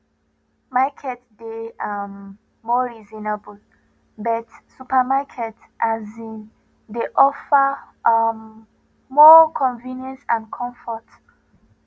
market dey um more reasonable but supermarket um dey offer um more convenience and comfort